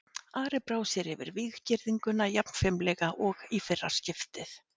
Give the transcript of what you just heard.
Ari brá sér yfir víggirðinguna jafn fimlega og í fyrra skiptið.